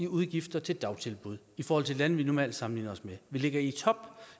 udgifter til dagtilbud i forhold til lande vi normalt sammenligner os med vi ligger i top